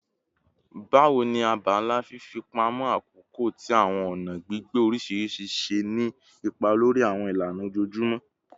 Bawo ni abala fifipamọ akoko ti awọn ọna gbigbe oriṣiriṣi ṣe ni ipa lori awọn ilana ojoojumọ?